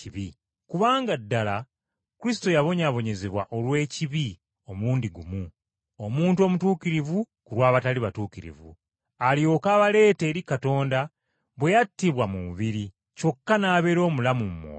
Kubanga ddala Kristo yabonyaabonyezebwa olw’ebibi omulundi gumu, Omuntu Omutuukirivu ku lw’abatali batuukirivu, alyoke abaleete eri Katonda bwe yattibwa mu mubiri, kyokka n’abeera mulamu mu mwoyo.